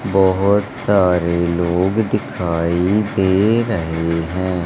बहोत सारे लोग दिखाई दे रहे हैं।